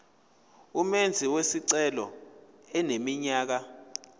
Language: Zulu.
umenzi wesicelo eneminyaka